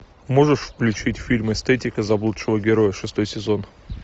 можешь включить фильм эстетика заблудшего героя шестой сезон